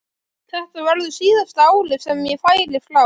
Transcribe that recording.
Þetta verður síðasta árið sem ég færi frá.